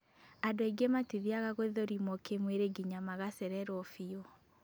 Andũ aingĩ matithiaga gũthũrimwo kĩmwĩrĩ nginya magacererwo biũ